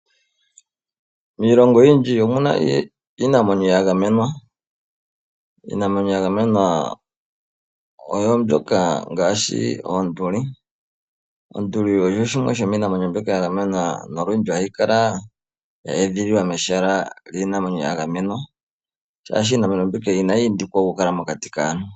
Miilongo oyindji omuna iinamwenyo ya gamenwa, iinamwenyo ya gamenwa oyo mbyoka ngaashi oonduli. Onduli osho shimwe shomiinamwenyo mbyoka ya gamenwa nolundji ohayi kala ya edhililwa mehala lyiinamwenyo ya gamenwa, shaashi iinamwenyo mbika inayi pitikwa oku kala mokati kaantu.